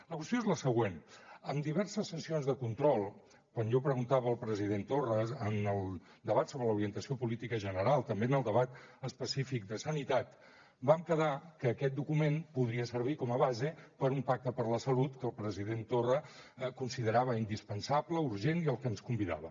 la qüestió és la següent en diverses sessions de control quan jo preguntava al president torra en el debat sobre l’orientació política general també en el debat específic de sanitat vam quedar que aquest document podria servir com a base per a un pacte per la salut que el president torra considerava indispensable urgent i al que ens convidava